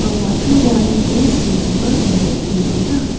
water body is visible in the area.